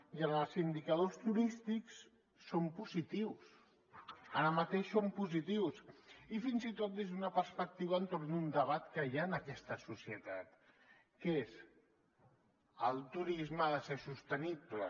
i en els indicadors turístics som positius ara mateix som positius i fins i tot des d’una perspectiva entorn d’un debat que hi ha en aquesta societat que és el turisme ha de ser sostenible